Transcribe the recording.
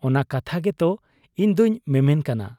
ᱼᱼᱼ ᱚᱱᱟ ᱠᱟᱛᱷᱟ ᱜᱮᱛᱚ ᱤᱧᱫᱚᱧ ᱢᱮᱢᱮᱱ ᱠᱟᱱᱟ ᱾